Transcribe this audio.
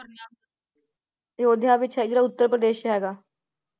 ਤੇ ਅਯੋਧਿਆ ਵਿਚ ਹੈ ਜੋ ਉੱਤਰਪ੍ਰਦੇਸ਼ ਹੈਗਾ ।